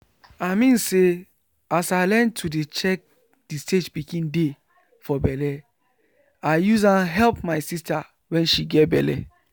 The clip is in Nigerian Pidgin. i mean say as i learn to dey check the stage pikin dey for belle i use am help my sister wen she get belle